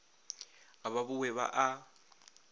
ga ba bowe ba a